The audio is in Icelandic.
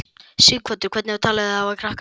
Sighvatur: Hvernig talið þið þá við krakkana?